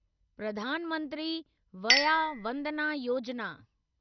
Pradhan Mantri Vaya Vandana Yojana